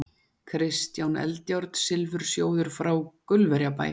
Kristján Eldjárn, Silfursjóður frá Gaulverjabæ